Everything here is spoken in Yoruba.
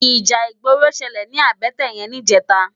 Íjà igbóró ṣëlé ni àbëtè yèn nijètá